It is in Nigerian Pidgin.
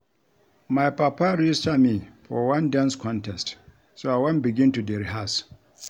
My papa register me for one dance contest so I wan begin to dey rehearse